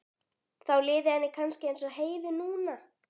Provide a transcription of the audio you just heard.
Þá liði henni kannski eins og Heiðu núna.